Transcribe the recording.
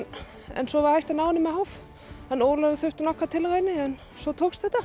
en svo var hægt að ná henni með háf Ólafur þurfti nokkrar tilraunir en svo tókst þetta